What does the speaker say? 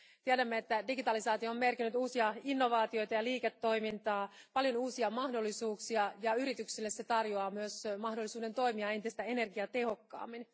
Tiedämme, että digitalisaatio on merkinnyt uusia innovaatioita ja liiketoimintaa paljon uusia mahdollisuuksia ja yrityksille se tarjoaa myös mahdollisuuden toimia entistä energiatehokkaammin.